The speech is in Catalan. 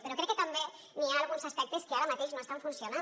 però crec que també n’hi ha alguns aspectes que ara mateix no estan funcionant